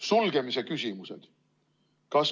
Sulgemise küsimused.